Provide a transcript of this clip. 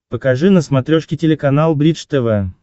покажи на смотрешке телеканал бридж тв